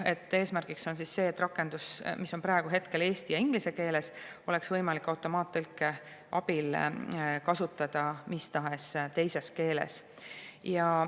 Eesmärk on see, et rakendust, mis on praegu eesti ja inglise keeles, oleks võimalik automaattõlke abil kasutada mis tahes teises keeles.